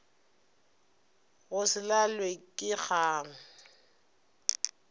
go se lalwe ke kgang